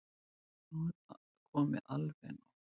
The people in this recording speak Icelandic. Nú er komið alveg nóg!